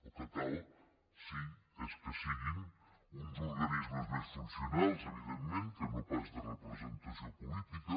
el que cal sí és que siguin uns organismes més funcionals evidentment que no pas de representació política